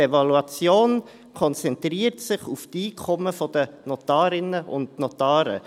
Die Evaluation konzentriert sich auf die Einkommen der Notarinnen und Notare.